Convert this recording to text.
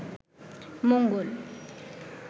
মঙ্গল